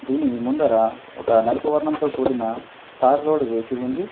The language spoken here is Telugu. దీని ముందర ఒక నలుపు వర్ణంతో కూడిన తార్ రోడ్డు వేసి ఉంది.